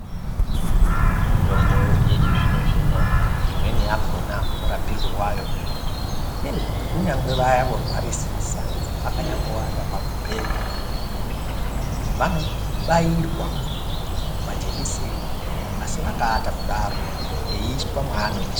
Mitombo yechizvino-zvino, imweni yakhona murapirwe wayo, ngeyekuti kunyangwe vaya vorwarisisa vakaate pamubhedha, vanobairwa majekiseni, asi vakaata kudaro, eiiswa mwaanoiswa.